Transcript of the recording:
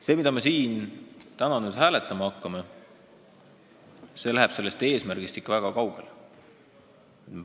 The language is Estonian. Eelnõu, mida me täna hääletama hakkame, läheb sellest eesmärgist ikka väga kaugele.